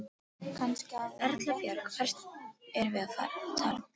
Erla Björg: Hvert erum við að tala um?